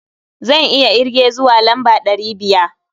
Zan iya irge zuwa lamba ɗari biya.